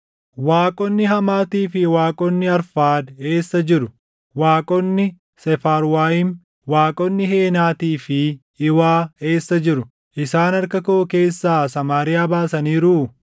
Waaqonni Hamaatii fi waaqonni Arfaad eessa jiru? Waaqonni Seefarwaayim, waaqonni Heenaatii fi Iwaa eessa jiru? Isaan harka koo keessaa Samaariyaa baasaniiruu?